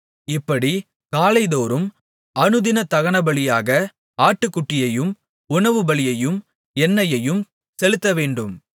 இப்படிக் காலைதோறும் அனுதின தகனபலியாக ஆட்டுக்குட்டியையும் உணவுபலியையும் எண்ணெயையும் செலுத்தவேண்டும்